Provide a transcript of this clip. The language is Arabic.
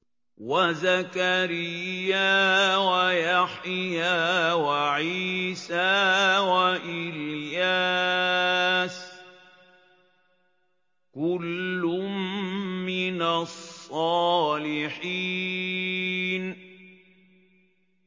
وَزَكَرِيَّا وَيَحْيَىٰ وَعِيسَىٰ وَإِلْيَاسَ ۖ كُلٌّ مِّنَ الصَّالِحِينَ